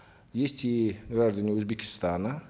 есть и граждане узбекистана